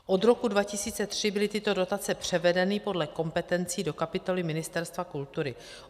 Od roku 2003 byly tyto dotace převedeny podle kompetencí do kapitoly Ministerstva kultury.